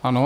Ano.